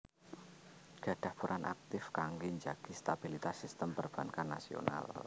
Gadhah peran aktip kangge njagi stabilitas sistem perbankan nasional